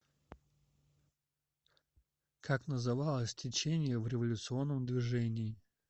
как называлось течение в революционном движении